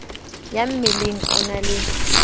ya mmeleng o na le